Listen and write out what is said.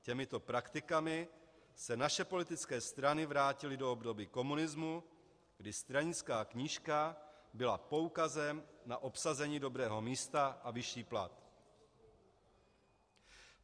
Těmito praktikami se naše politické strany vrátily do období komunismu, kdy stranická knížka byla poukazem na obsazení dobrého místa a vyšší plat.